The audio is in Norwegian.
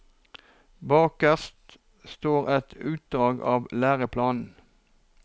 Bakerst står et utdrag av læreplanen.